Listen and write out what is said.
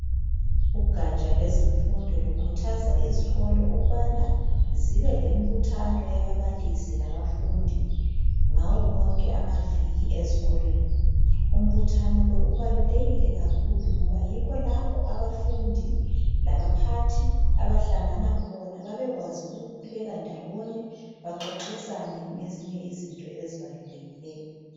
Ugatsha lezemfundo lukhuthaza izikolo ukubana zibe lembuthano yababalisi labafundi ngawo wonke amaviki ezikolweni. Umbuthano lo ubalulekile kakhulu ngoba yikho lapho abafundi labaphathi abahlangana khona babekwazi ukukhuleka ndawonye baxoxisane ngezinye izinto ezibalulekileyo.